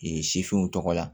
sifinw tɔgɔ la